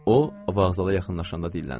O vağzala yaxınlaşanda dilləndi.